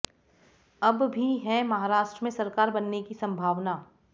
अब भी हैं महाराष्ट्र में सरकार बनने की संभावना